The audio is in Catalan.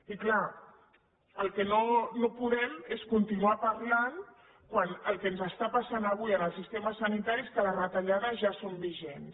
i clar el que no podem és continuar parlant quan el que ens està passant avui en el sistema sanitari és que les retallades ja són vigents